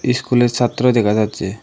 ইস্কুলের ছাত্র দেখা যাচ্ছে।